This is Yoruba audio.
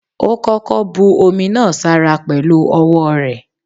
Ó koko bu omi náà sára pẹ̀lu ọwọ́ rẹ̀.